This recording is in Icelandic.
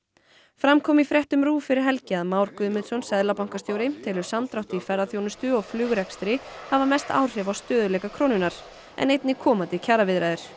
fram kom í fréttum RÚV fyrir helgi að Már Guðmundsson seðlabankastjóri telur samdrátt í ferðaþjónustu og flugrekstri hafa mest áhrif á stöðugleika krónunnar en einnig komandi kjaraviðræður